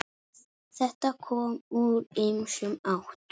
Þetta kom úr ýmsum áttum.